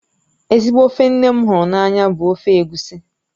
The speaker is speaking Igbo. Ezigbo ofe nne m hụrụ n'anya bụ ofe egusi